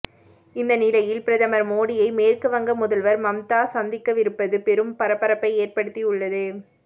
இந்த நிலையில் பிரதமர் மோடியை மேற்குவங்க முதல்வர் மம்தா சந்திக்கவிருப்பது பெரும் பரபரப்பை ஏற்படுத்தியுள்ளது